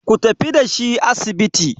ku tafi da shi asibiti!